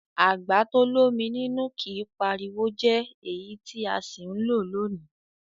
Àgbà to l'ómi nínú kìí pariwo jẹ́ èyí tí a sì ń lò lónìí.